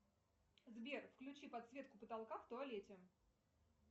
сбер включи подсветку потолка в туалете